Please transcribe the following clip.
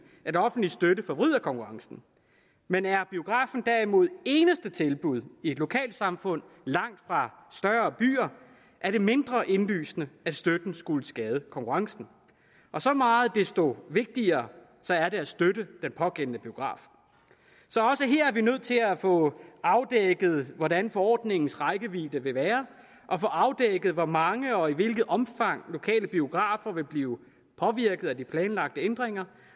at offentlig støtte forvrider konkurrencen men er biografen derimod det eneste tilbud i et lokalsamfund langt fra større byer er det mindre indlysende at støtten skulle skade konkurrencen og så meget desto vigtigere er det at støtte den pågældende biograf så også her er vi nødt til at få afdækket hvordan forordningens rækkevidde vil være og få afdækket hvor mange og i hvilket omfang lokale biografer vil blive påvirket af de planlagte ændringer